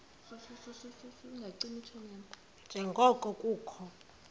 nje ngoko kukho